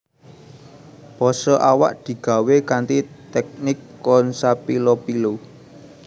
Pose awak digawé kanthi tèknik consapilopilo